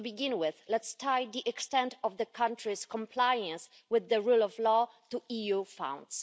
To begin with, let's tie the extent of the country's compliance with the rule of law to EU funds.